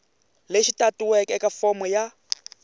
lexi tatiweke eka fomo ya